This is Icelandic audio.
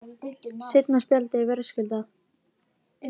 Seinna spjaldið er verðskuldað.